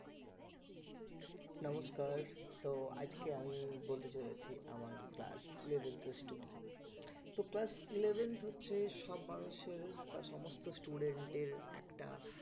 নমস্কার তো আজকে আমি বলতে চলেছি আমার class eleventh এর story তো class eleventh হচ্ছে সব মানুষের বা সমস্ত student দের একটা